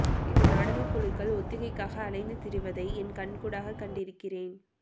இந்த நாடகக் குழுக்கள் ஒத்திகைக்காக அலைந்து திரிவதைக் என் கண்கூடாகக் கண்டிருக்கிறேன்